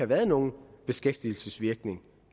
været nogen beskæftigelsesvirkning